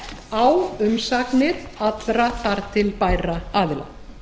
á umsagnir allra þar til bærra aðila